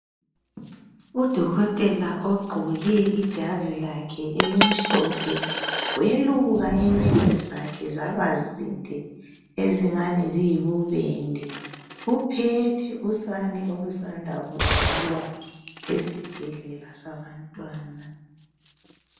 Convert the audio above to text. Udokotela ogqoke ijazi lakhe elimhlophe weluka inwele zakhe zaba zinde ezingani ziyibubende uphethe usane olusanda kuzalwa esibhedlela sabantwana.